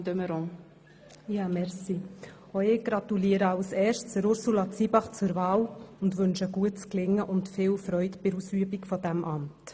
Auch ich gratuliere als Erstes Ursula Zybach zur Wahl und wünsche ihr gutes Gelingen und viel Freude beim Ausüben dieses Amts.